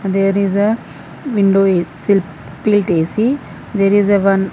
there is a window split A_C there is a one.